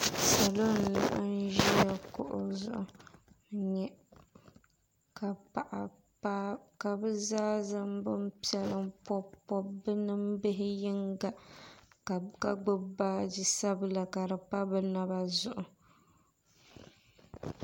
Salo n laɣim ʒiya kuɣu zuɣu n nyɛ ka bɛ zaa zaŋ binpiɛla m pɔbi pɔbi bɛ nimbihi yinga ka gbubi baaji sabila ka di pa bɛ naba zuɣu